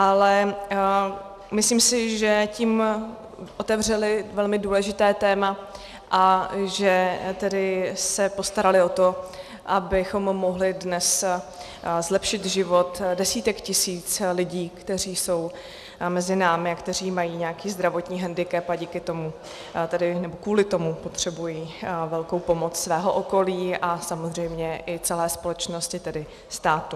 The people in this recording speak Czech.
Ale myslím si, že tím otevřeli velmi důležité téma a že tedy se postarali o to, abychom mohli dnes zlepšit život desítek tisíc lidí, kteří jsou mezi námi a kteří mají nějaký zdravotní hendikep a kvůli tomu potřebují velkou pomoc svého okolí a samozřejmě i celé společnosti, tedy státu.